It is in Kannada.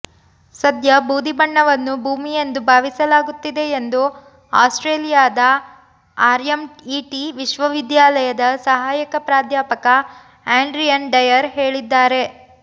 ಸದ್ಯ ಬೂದಿ ಬಣ್ಣವನ್ನು ಭೂಮಿಯೆಂದು ಭಾವಿಸಲಾಗುತ್ತಿದೆ ಎಂದು ಆಸ್ಟ್ರೇಲಿಯಾದ ಆರ್ಎಂಈಟಿ ವಿಶ್ವವಿದ್ಯಾಲಯದ ಸಹಾಯಕ ಪ್ರಾಧ್ಯಾಪಕ ಆಂಡ್ರಿಯನ್ ಡಯರ್ ಹೇಳಿದ್ದಾರೆ